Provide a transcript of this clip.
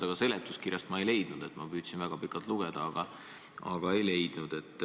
Ma seda seletuskirjast ei leidnud – püüdsin väga pikalt lugeda, aga ei leidnud.